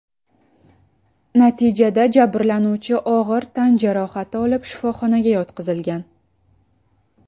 Natijada jabrlanuvchi og‘ir tan jarohati olib shifoxonaga yotqizilgan.